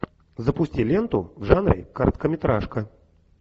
запусти ленту в жанре короткометражка